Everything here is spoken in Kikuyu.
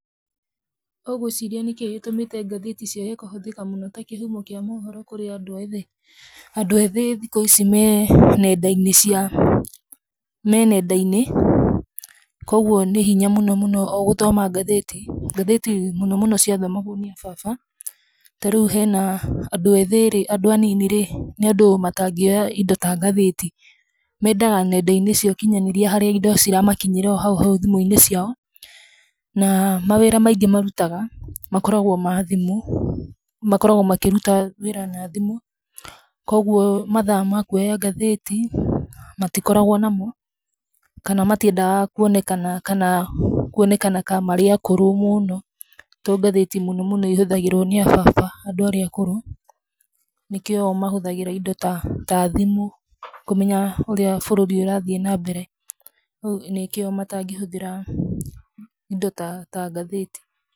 Ũgwĩciria nĩkĩĩ gĩtũmĩte ngathĩti ciage kũhũthĩka mũno ta kĩhumo kĩa maũhoro kũrĩ andũ ethĩ? Andũ ethĩ thikũ ici me nenda-inĩ cia, me nenda-inĩ. Kwoguo nĩ hinya mũnomũno o gũthoma ngathĩti. Ngathĩti mũnomũno ciathomagwo nĩ a baba. Ta rĩu hena andũ ethĩ rĩ, andũ anini rĩ, nĩ andũ matangĩoya indo ta ngathĩti. Meendaga nenda-inĩ cia ũkinyanĩria harĩa indo ciramakinyĩra o hau hau thimũ-inĩ ciao. Na mawĩra maingĩ marutaga makoragwo ma thimũ. Makoragwo makĩruta wĩra na thimũ kwoguo mathaa ma kũoya ngathĩti matikoragwo namo, kana matiendaga kũonekana kana kũonekana ka marĩ akũrũ mũno to ngathĩti mũnomũno ihũthagĩrwo nĩ a baba, andũ arĩa akũrũ, nikĩo mahũthagĩra indo ta thimũ kũmenya ũrĩa bũrũri ũrathiĩ nambere nĩkĩo matangĩhũthĩra indo ta ngathĩti.